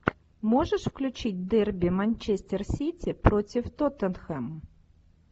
можешь включить дерби манчестер сити против тоттенхэм